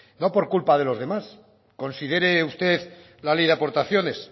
no por culpa de los demás considere usted la ley de aportaciones